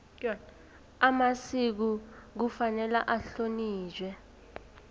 amasiko kufanele ahlonitjhwe